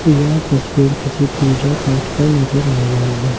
यह तस्वीर किसी पूजा-पाठ का नजर आ रहा है।